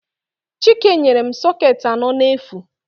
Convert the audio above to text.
Chike nyere m sọketị anọ n'efu.